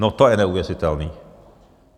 No to je neuvěřitelný!